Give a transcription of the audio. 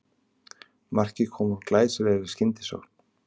Markið kom úr glæsilegri skyndisókn